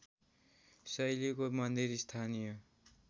शैलीको मन्दिर स्थानीय